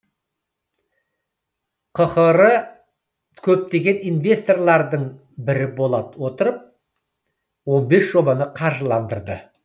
қхр көптеген инвесторлардың бірі бола отырып он бес жобаны қаржыландырды